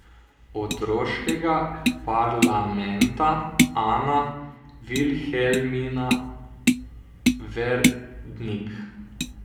Otroškega parlamenta Ana Vilhelmina Verdnik.